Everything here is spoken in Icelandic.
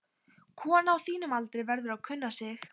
Kona á þínum aldri verður að kunna sig.